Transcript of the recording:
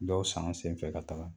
Dɔw san an senfɛ ka taga